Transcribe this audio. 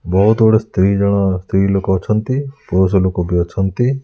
ବହୁତ୍ ଗୁଡେ ସ୍ତ୍ରୀ ଜଣ ସ୍ତ୍ରୀ ଲୋକ ଅଛନ୍ତି ପୁରୁଷ ଲୋକ ବି ଅଛନ୍ତି।